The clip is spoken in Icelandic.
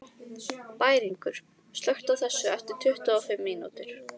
Bæringur, slökktu á þessu eftir tuttugu og fimm mínútur.